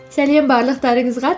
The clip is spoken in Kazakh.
сәлем барлықтарыңызға